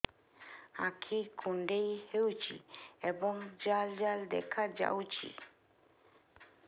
ଆଖି କୁଣ୍ଡେଇ ହେଉଛି ଏବଂ ଜାଲ ଜାଲ ଦେଖାଯାଉଛି